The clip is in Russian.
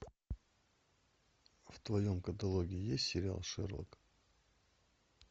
в твоем каталоге есть сериал шерлок